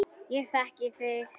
Ég þekki þig.